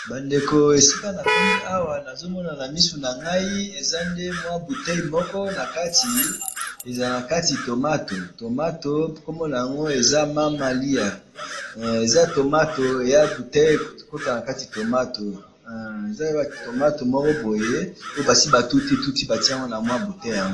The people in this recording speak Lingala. bandeko esika na komi awa nazo mona na miso na ngai eza nde moya boitelle moko na kati ezala na kati tomato tomoto kombo nango eza mama liya eza